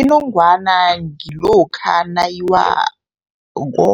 Inongwana ngilokha nayiwako.